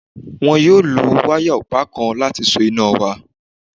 Wọn yóò lo wáyà ọ̀pá kan láti so iná wa